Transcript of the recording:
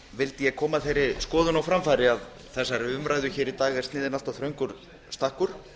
vildi ég koma þeirri skoðun á framfæri að þessari umræðu hér í dag er sniðinn allt þröngur stakkur